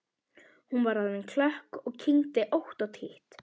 Hún var orðin klökk og kyngdi ótt og títt.